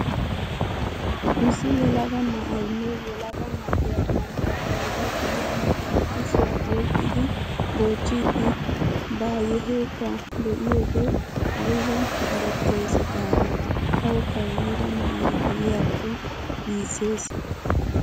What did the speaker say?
Issi yelaga na'aynne yelaga na'iya bantta bayra yiira na'aa kushiya oyqqidi goochchiiddi byaheeta be'iyode ayba qarettees gaadii. Tawukka yiira na'ay diyakko giissees.